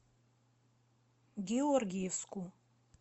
георгиевску